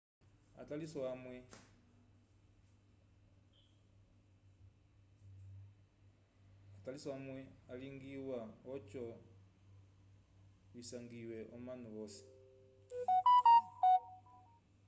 ataliso alwa vyalingiwa oco visanjwise omanu vosi